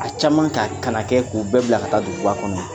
A caman ka kana kɛ k'u bɛɛ bila ka taa duguba kɔnɔ